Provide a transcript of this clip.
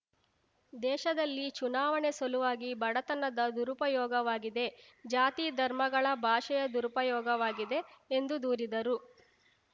ದೇಶದಲ್ಲಿ ಚುನಾವಣೆ ಸಲುವಾಗಿ ಬಡತನದ ದುರುಪಯೋಗವಾಗಿದೆ ಜಾತಿ ಧರ್ಮಗಳ ಭಾಷೆಯ ದುರುಪಯೋಗವಾಗಿದೆ ಎಂದು ದೂರಿದರು